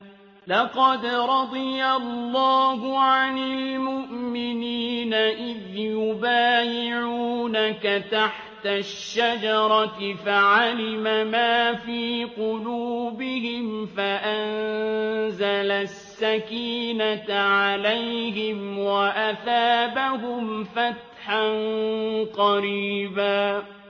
۞ لَّقَدْ رَضِيَ اللَّهُ عَنِ الْمُؤْمِنِينَ إِذْ يُبَايِعُونَكَ تَحْتَ الشَّجَرَةِ فَعَلِمَ مَا فِي قُلُوبِهِمْ فَأَنزَلَ السَّكِينَةَ عَلَيْهِمْ وَأَثَابَهُمْ فَتْحًا قَرِيبًا